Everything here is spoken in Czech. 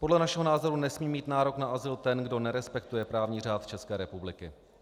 Podle našeho názoru nesmí mít nárok na azyl ten, kdo nerespektuje právní řád České republiky.